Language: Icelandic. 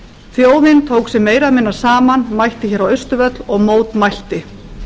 þjóðin tók sig meira eða minna saman mætti hér á austurvöll og mótmælti